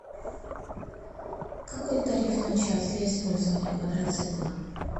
какой тариф на час для использования квадроцикла